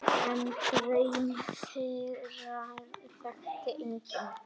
En draum þeirra þekkti enginn.